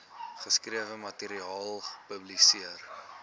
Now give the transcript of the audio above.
geskrewe materiaal publiseer